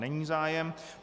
Není zájem.